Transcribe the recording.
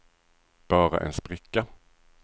bara en spricka